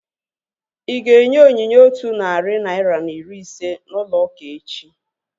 Ịga enye onyinye otu narị naira na iri ise n'ụlọ ụka echi?